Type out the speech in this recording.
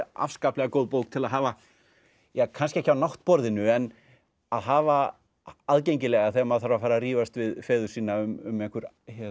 afskaplega góð bók til að hafa ja kannski ekki á náttborðinu en að hafa aðgengilega þegar maður þarf að fara að rífast við feður sína um einhver